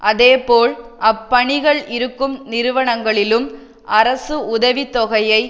அதேபோல் அப்பணிகள் இருக்கும் நிறுவனங்களிலும் அரசு உதவி தொகையை